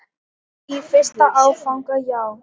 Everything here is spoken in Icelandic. Í fyrsta áfanga já.